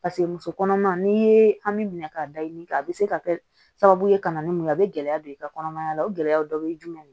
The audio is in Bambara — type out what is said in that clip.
paseke muso kɔnɔma n'i ye an mi minɛ k'a daɲini kɛ a be se ka kɛ sababu ye ka na ni mun ye a be gɛlɛya don i ka kɔnɔmaya la o gɛlɛyaw dɔ bɛ ye jumɛn